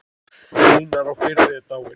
Einar á Firði er dáinn.